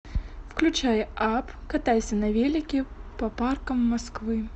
включай апп катайся на велике по паркам москвы